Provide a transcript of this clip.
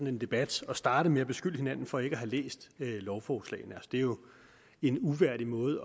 en debat at starte med at beskylde hinanden for ikke at have læst lovforslaget det er jo en uværdig måde